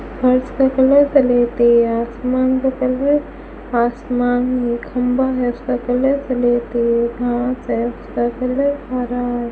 फर्श का colour black है आसमान का कलर आसमान में खंभा है उसका कलर ब्लैक है घास है उसका कलर हरा है।